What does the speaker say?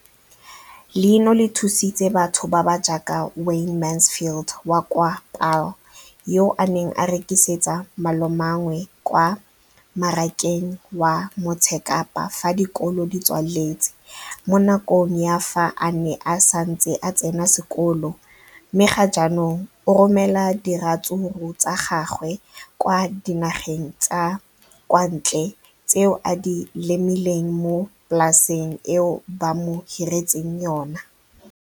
Leno le thusitse batho ba ba jaaka Wayne Mansfield, 33, wa kwa Paarl, yo a neng a rekisetsa malomagwe kwa Marakeng wa Motsekapa fa dikolo di tswaletse, mo nakong ya fa a ne a santse a tsena sekolo, mme ga jaanong o romela diratsuru tsa gagwe kwa dinageng tsa kwa ntle tseo a di lemileng mo polaseng eo ba mo hiriseditseng yona.